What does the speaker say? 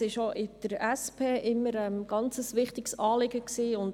Dieser war der SP immer ganz wichtig und bleibt es weiterhin.